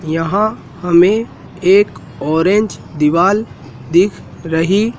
यहां हमें एक ऑरेंज दीवाल दिख रही--